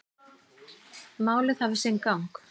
Málið hafi sinn gang.